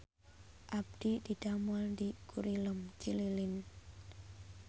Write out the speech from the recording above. Abdi didamel di Gurilem Cililin